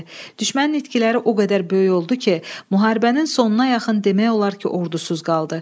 Düşmənin itkiləri o qədər böyük oldu ki, müharibənin sonuna yaxın demək olar ki, ordusuz qaldı.